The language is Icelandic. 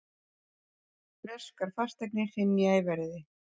Breskar fasteignir hrynja í verði